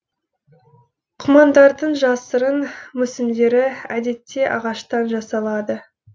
құмандардың жасырын мүсіндері әдетте ағаштан жасалады